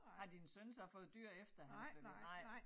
Har din søn så fået dyr efter han flyttede nej